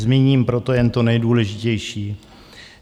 Zmíním proto jen to nejdůležitější.